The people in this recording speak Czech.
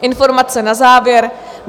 Informace na závěr.